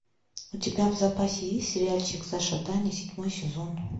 у тебя в запасе есть сериальчик саша таня седьмой сезон